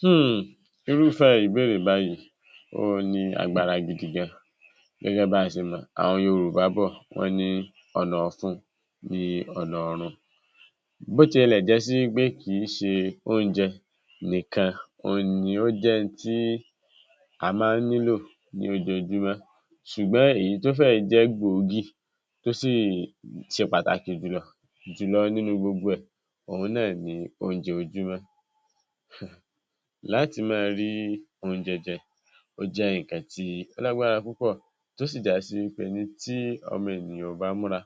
Huùn. Irúfé ìbéèrè báyìí, ó ní agbára gidi gan. Gẹ́gẹ́ báṣí mọ̀, àwọn Yorùbá bọ̀ wọ́n ní ọ̀nà ọ̀fun ní ọ̀nà ọ̀run. Bó tilẹ̀ jẹ́ sí wípé kìí ṣe oúnjẹ nìkan oun ni ó jẹ́ n tí a máa nílò ní ojoojúmọ́, ṣùgbọ́n èyí tó fẹ́ jẹ́ gbòógì tó sì ṣe pàtàkì jùlọ, jùlọ nínú gbogbo ẹ, òun náà ni oúnjẹ òwúrọ̀. Láti máa rí oúnjẹ jẹ, ó jẹ́ nkan tí ó lágbára púpọ̀ tó sì jasi pé ní ti Ọmọ Ènìyàn ò bá múra.